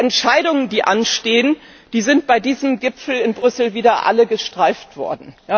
Die Entscheidungen, die anstehen, sind bei diesem Gipfel in Brüssel wieder alle nur gestreift worden.